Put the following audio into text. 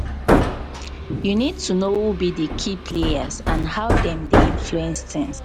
you need to know who be di key players and how dem dey influence tings.